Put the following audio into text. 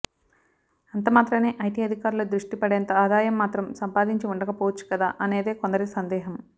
అంతమాత్రాన్నే IT అధికారుల దృష్టి పడేంత ఆదాయం మాత్రం సంపాదించి ఉండకపోవచ్చు కదా అనేదే కొందరి సందేహం